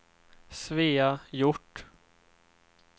Svea Hjort